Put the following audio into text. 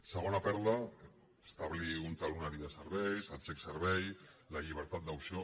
segona perla establir un talonari de serveis el xec servei la llibertat d’opció